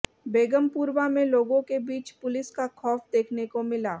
बेगमपुरवा में लोगों के बीच पुलिस का खौफ देखने को मिला